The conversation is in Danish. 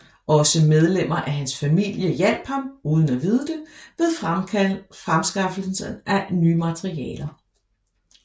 Også medlemmer af hans familie hjalp ham uden at vide det ved fremskaffelsen af nye materialer